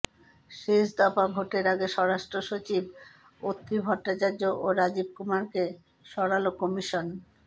শেষ দফা ভোটের আগে স্বরাষ্ট্রসচিব অত্রি ভট্টাচার্য ও রাজীব কুমারকে সরাল কমিশন